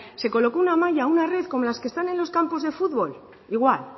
se colocó una malla una red como las que están en los campos de fútbol igual